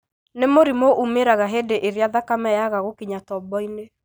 nĩ mũrimũ umĩraga hĩndĩ ĩrĩa thakame yaga gũkinya tobo-inĩ.